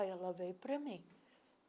Aí ela veio para mim.